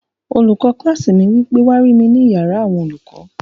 Olùkọ́ kílásì mi wí pé, "wá rí mi ní yàrá àwọn olùkọ́!"